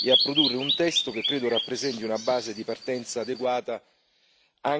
e a produrre un testo che credo rappresenti una base di partenza adeguata